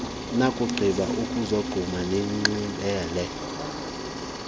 nakugqiba ukuzogquma nicimele